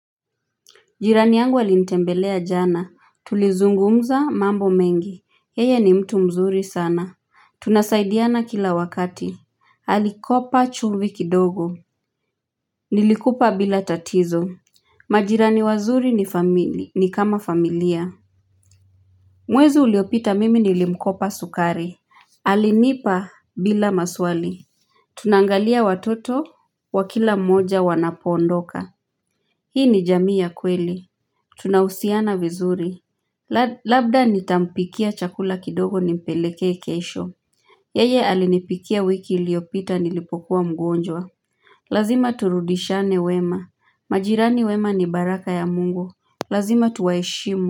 Jirani yangu alinitembelea jana, tulizungumza mambo mengi, yeye ni mtu mzuri sana. Tunasaidiana kila wakati. Alikopa chumvi kidogo. Nilikupa bila tatizo. Majirani wazuri ni kama familia. Mwezi uliopita, mimi nilimkopa sukari. Halinipa bila maswali. Tunaangalia watoto wakila mmoja wanapoondoka. Hii ni jami ya kweli. Tunahusiana vizuri. Labda nitampikia chakula kidogo nimpelekee kesho yeye alinipikia wiki iliopita nilipokuwa mgonjwa lazima turudishiane wema. Majirani wema ni baraka ya mungu, lazima tuwaheshimu.